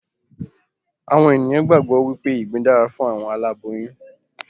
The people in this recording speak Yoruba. Àwọn ènìyàn gbàgbọ́ wípé ìgbín dára fún àwọn aláboyún